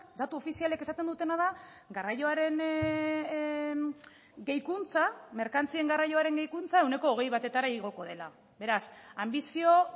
datu ofizialek esaten dutena da garraioaren gehikuntza merkantzien garraioaren gehikuntza ehuneko hogei batetara igoko dela beraz anbizio